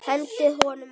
Hendið honum út!